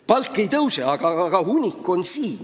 Palk ei tõuse, aga hunnik on ees.